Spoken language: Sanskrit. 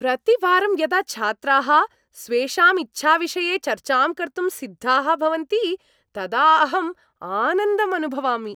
प्रतिवारं यदा छात्राः स्वेषां इच्छाविषये चर्चां कर्तुं सिद्धाः भवन्ति तदा अहं आनन्दम् अनुभवामि।